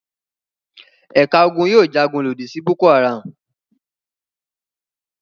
Ẹ̀ka ogun yóò jagun lòdì sí Boko-Haram.